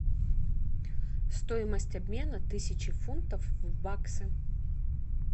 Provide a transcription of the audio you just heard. стоимость обмена тысячи фунтов в баксы